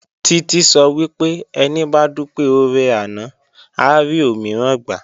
Títí sọ wípé "Ẹni bá dúpẹ́ oore àná, á rí òmíràn gbà"